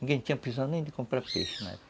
Ninguém tinha precisão nem de comprar peixe na época.